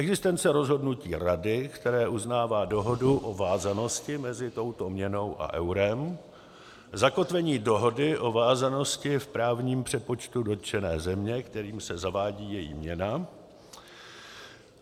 existence rozhodnutí Rady, které uznává dohodu o vázanosti mezi touto měnou a eurem; zakotvení dohody o vázanosti v právním přepočtu dotčené země, kterým se zavádí její měna.